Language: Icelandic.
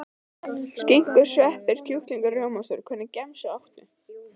Skinku sveppi kjúkling og rjómaost Hvernig gemsa áttu?